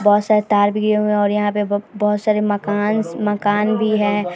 बहुत सारे तार भी गए हुए हैं और यहाँ पे बोहोत सारे मकांस मकान भी है।